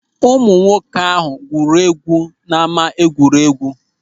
Ụmụ nwoke ahụ gwuru egwu na ama egwuregwu.